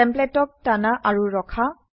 টেমপ্লেটক টানা আৰু ৰখা